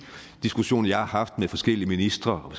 diskussioner jeg har haft med forskellige ministre og